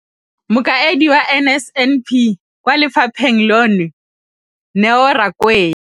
Mokaedi wa NSNP kwa lefapheng leno, Neo Rakwena,